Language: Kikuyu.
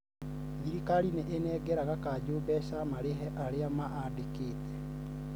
thirikari nĩĩnengeraga kanjo mbeca marĩhe arĩa maandĩkĩte